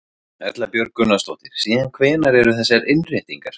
Erla Björg Gunnarsdóttir: Síðan hvenær eru þessar innréttingar?